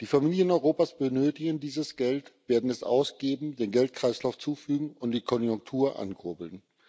Die Familien Europas benötigen dieses Geld, werden es ausgeben, dem Geldkreislauf zuführen und die Konjunktur ankurbeln.